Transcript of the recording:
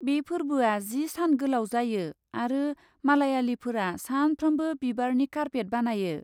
बे फोरबोआ जि सान गोलाव जायो आरो मालायालिफोरा सानफ्रोमबो बिबारनि कारपेट बानायो।